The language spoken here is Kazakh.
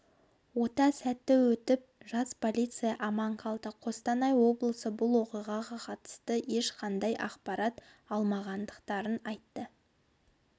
ота сәтті өтіп жас полиция аман қалды қостанай облысы бұл оқиғаға қатысты ешқандай ақпарат алмағандарын айтты